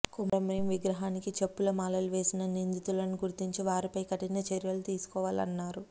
కుమ్రం భీం విగ్రహానికి చెప్పుల మాలలు వేసిన నిందితులను గుర్తించి వారిపై కఠిన చర్యలు తీసుకోవాలన్నారు